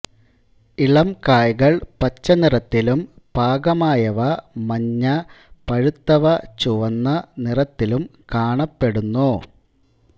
ഇളംകായകൾ പച്ച നിറത്തിലും പാകമായവ മഞ്ഞ പഴുത്തവ ചുവന്ന നിറത്തിലും കാണപ്പെടുന്നു